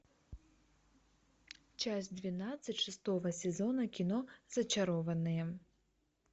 часть двенадцать шестого сезона кино зачарованные